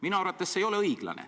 Minu arvates see ei ole õiglane.